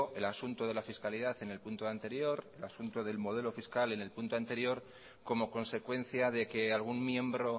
el asunto de la fiscalidad en el punto anterior como consecuencia de que algún miembro